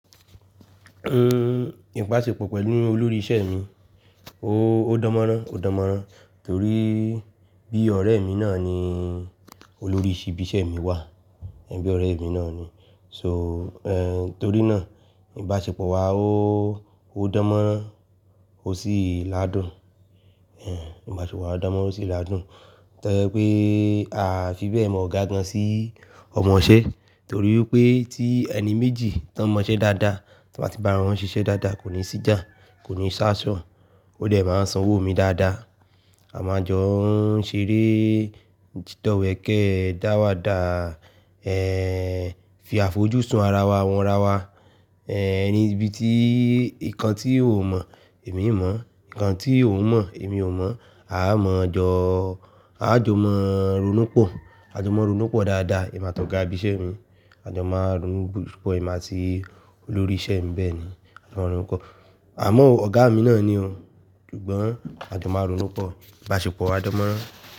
Íbàṣepọ̀ pẹ̀lú olórí isẹ́ mi, ó dánmọ́rán, ó dánmọ́rán torí bí ọ̀rẹ́ mi náà nii olórí íbi isẹ́ mi wà, bíí ọ̀rẹ́ mi náà ni. So, eh, torí náà ìbáṣepọ̀ wa ó, ó dánmọ́rán, ó sì ládùn. Eh, ìbáṣepọ̀ wa dánmọ́rán ó sì ládùn tó jẹ́ pé a fi bẹ́ẹ̀ mọ̀ ọ́ ga gan sí ọmọṣẹ́ torí pé tí ẹni méjì tó mọṣẹ́ dáadáa, tí wọ́n bá ti bára wọn ṣiṣẹ́ dáadáa kò ní síjà, kò ní ṣásọ̀n, ó dẹ̀ máa sanwó mi dáadáa. A máa jọ n ṣeré dídọ̀wẹ̀kẹ́, dáwàda, eh, fi àfojúsùn ara wa wọn rawa. Eh, ẹni ibi tí nǹkan tí ò mọ̀ èmi mọ̀, nǹkan tí òun mọ̀ èmi ò mọ̀, a máa jọ, a jọ máa ronúpọ̀, a jọ máa ronúpọ̀ dáadáa, èmi àtọ̀gá ibi isẹ́ mi, a jọ máa ronúpọ̀ èmi àti olórí isẹ́ mi, bẹ́ẹ̀ni. A jọ máa ronúpọ̀. Àmọ́ ọ̀gá mi náà ni o, ṣùgbọ́n a jọ máa ronúpọ̀, ìbáṣepọ̀ wa dánmọ́rán.